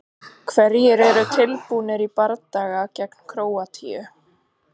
Hverjir eru tilbúnir í bardaga gegn Króatíu?